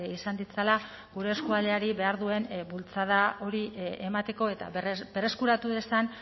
izan ditzala gure eskualdeari behar duen bultzada hori emateko eta berreskuratu dezan